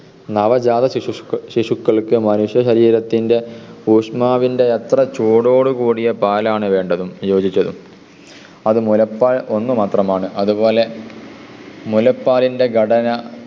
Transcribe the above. നവജാത ശിശുക്കൾക്ക് മനുഷ്യശരീരത്തിൻ്റെ ഊഷ്മാവിൻ്റെ അത്ര ചൂടോടു കൂടിയ പാലാണ് വേണ്ടതും യോജിച്ചതും. അത് മുലപ്പാൽ ഒന്ന് മാത്രമാണ്. അതുപോലെ മുലപ്പാലിൻ്റെ ഘടന